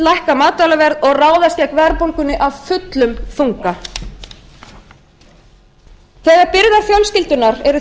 lækka matvælaverð og ráðast gegn verðbólgunni af fullum þunga þegar byrðar fjölskyldunnar eru